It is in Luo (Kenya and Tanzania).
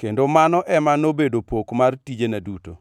kendo mano ema nobedo pok mar tijena duto.